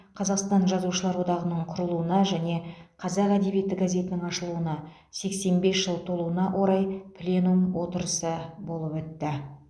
қазақстан жазушылар одағының құрылуына және қазақ әдебиеті газетінің ашылуына сексен бес жыл толуына орай пленум отырысы болып өтті